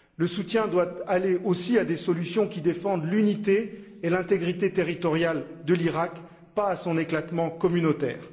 Le soutien doit aller aussi à des solutions qui défendent l'unité et l'intégrité territoriale de l'Iraq, pas à son éclatement communautaire.